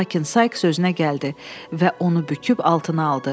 Lakin Saiks özünə gəldi və onu büküb altına aldı.